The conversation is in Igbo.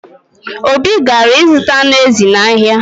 Obi gara ịzụta anụ ezi n’ahịa